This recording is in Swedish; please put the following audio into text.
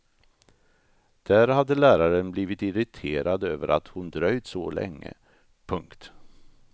Där hade läraren blivit irriterad över att hon dröjt så länge. punkt